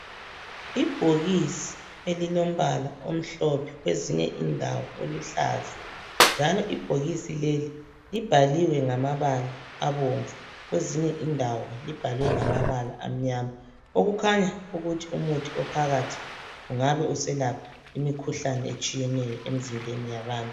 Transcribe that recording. Ibhokisi elilombala omhlophe kwezinye indawo oluhlaza njalo ibhokisi leli libhaliwe ngamabala abomvu kwezinye indawo libhalwe ngamabala amnyama okukhanya ukuthi umuthi ophakathi ungabe uselapha imikhuhlane etshiyeneyo emzimbeni yabantu